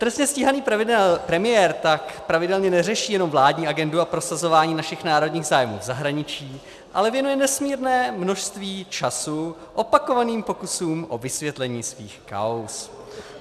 Trestně stíhaný premiér tak pravidelně neřeší jenom vládní agendu a prosazování našich národních zájmů v zahraničí, ale věnuje nesmírné množství času opakovaným pokusům o vysvětlení svých kauz.